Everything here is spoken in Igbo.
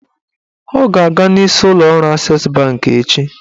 Ọ ga-aga n'isi ụlọọrụ Ases bankị echi